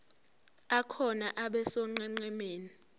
akhona abe sonqenqemeni